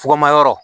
Fukumayɔrɔ